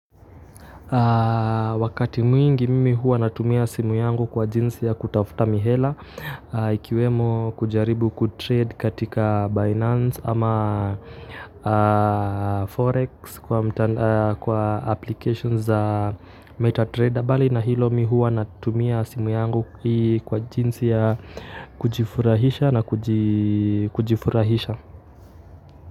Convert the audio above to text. Wakati mwingi mimi huwa natumia simu yangu kwa jinsi ya kutafuta mihela. Ikiwemo kujaribu kutrade katika Binance ama Forex kwa applications za MetaTrader. Mbali na hilo, mimi huwa natumia simu yangu kwa jinsi ya kujifurahisha na kujifurahisha.